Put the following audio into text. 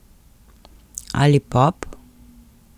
Ali pop?